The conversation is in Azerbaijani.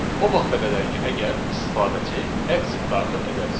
O vaxta qədər ki, əgər istifadəçi exit daxil edərsə.